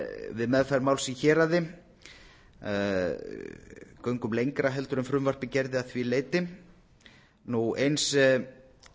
við meðferð máls í héraði göngum lengra en frumvarpið gerði að því leyti eins kveðum